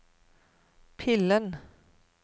pillen